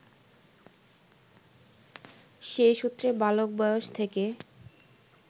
সেই সূত্রে বালক বয়স থেকে